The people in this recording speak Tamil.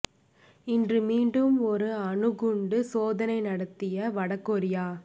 இன்று மீண்டும் ஒரு அணு குண்டு சோதனை நடத்திய வட கொரியா